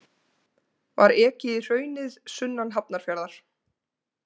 Var ekið í hraunið sunnan Hafnarfjarðar.